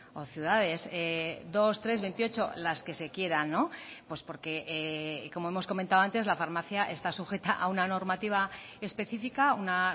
o ciudades dos tres veintiocho las que se quieran pues porque como hemos comentado antes la farmacia está sujeta a una normativa específica una